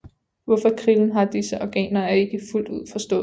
Hvorfor krillen har disse organer er ikke fuldt ud forstået